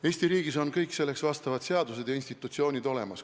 Eesti riigis on kõik selleks vajalikud seadused ja institutsioonid olemas.